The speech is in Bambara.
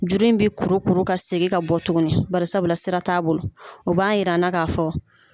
Juru in bɛ kuru kuru ka segin ka bɔ tuguni barisabula sira t'a bolo u b'a yira an na ka fɔ